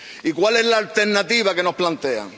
Y ¿cuál es la alternativa que nos plantean?